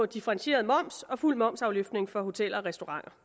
differentieret moms og fuld momsafløftning for hoteller og restauranter